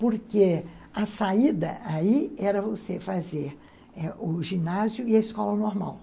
Porque a saída aí era você fazer eh o ginásio e a escola normal.